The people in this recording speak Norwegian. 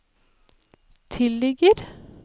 tilligger